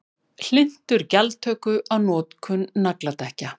Hlynntur gjaldtöku á notkun nagladekkja